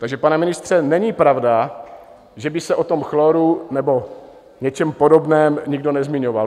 Takže, pane ministře, není pravda, že by se o tom chloru nebo něčem podobném nikdo nezmiňoval.